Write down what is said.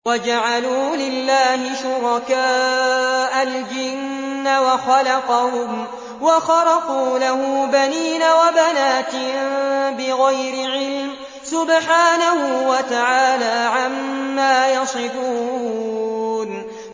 وَجَعَلُوا لِلَّهِ شُرَكَاءَ الْجِنَّ وَخَلَقَهُمْ ۖ وَخَرَقُوا لَهُ بَنِينَ وَبَنَاتٍ بِغَيْرِ عِلْمٍ ۚ سُبْحَانَهُ وَتَعَالَىٰ عَمَّا يَصِفُونَ